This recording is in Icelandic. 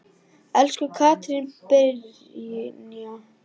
Elsku Katrín Brynja.